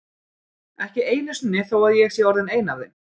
Ekki einu sinni þó að ég sé orðin ein af þeim.